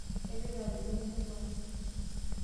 Kaloito adumu embuku ai.